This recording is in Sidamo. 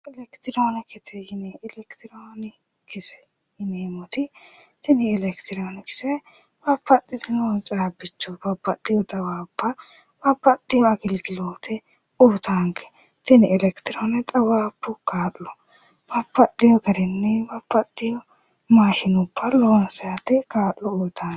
Elekitirionikisete yinneemmoti tini Elekitirionikise babbaxitino caabbicho babbaxitino xawaabba babbaxeyo agiligilote uyittanke tene elekitirione xaawabbu kaa'lo babbaxeyo garinni babbaxeyo maashinubba loonsannite kaa'lo uyittanonke.